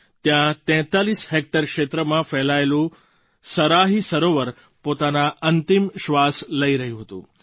ત્યાં 43 હૅક્ટર ક્ષેત્રમાં ફેલાયેલું સરાહી સરોવર પોતાના અંતિમ શ્વાસ લઈ રહ્યું હતું